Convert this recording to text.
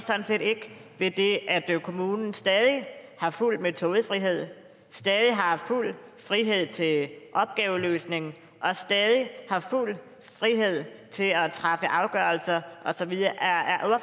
ved det at kommunen stadig har fuld metodefrihed stadig har fuld frihed til opgaveløsningen og stadig har fuld frihed til at træffe afgørelser og så videre